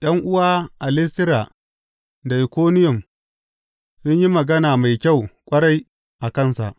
’Yan’uwa a Listira da Ikoniyum sun yi magana mai kyau ƙwarai a kansa.